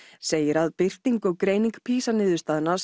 segir að birting og greining PISA niðurstaðna